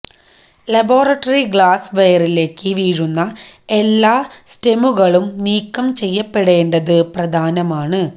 laboratory glass വെയറിലേക്ക് വീഴുന്ന എല്ലാ സ്റ്റെമുകളും നീക്കം ചെയ്യപ്പെടേണ്ടത് പ്രധാനമാണ്